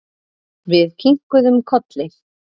Við kinkuðum kolli.